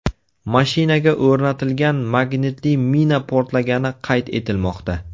Mashinaga o‘rnatilgan magnitli mina portlagani qayd etilmoqda.